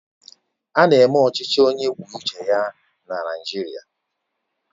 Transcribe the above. Ána eme ọchịchị onye kwuo uche ya na Naịjirịa